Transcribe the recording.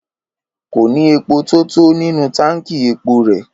Kò ní epo tó tó nínú táǹkì epo rẹ̀.